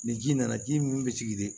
Ni ji nana ji min bɛ sigi de